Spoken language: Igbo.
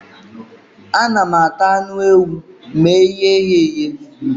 Ana m ata anụ ewu ma eghe ya eghe